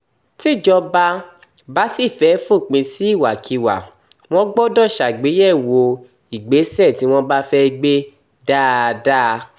tíjọba bá sì fẹ́ẹ́ fòpin sí ìwàkiwà wọn gbọ́dọ̀ ṣàgbéyẹ̀wò ìgbésẹ̀ tí wọ́n bá fẹ́ẹ́ gbé dáadáa